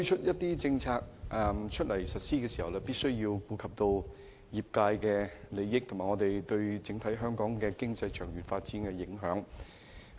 不過，政府在推出政策時必須顧及業界利益，以及有關政策對香港整體經濟長遠發展的影響。